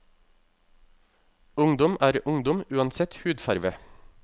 Ungdom er ungdom, uansett hudfarve.